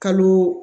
Kalo